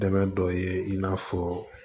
Dɛmɛ dɔ ye i n'a fɔ